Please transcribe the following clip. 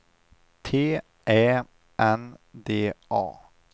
T Ä N D A